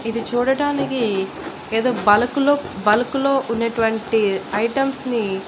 ఇది చూడటానికి ఏదో బల్క్ లో బల్క్ లో ఉండేటువంటి ఐటమ్స్ ని--